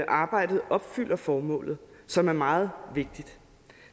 arbejdet opfylder formålet som er meget vigtigt